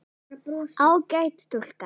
Ágæt stúlka.